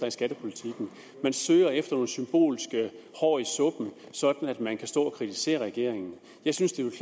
i skattepolitikken man søger efter nogle symbolske hår i suppen sådan at man kan stå og kritisere regeringen jeg synes det ville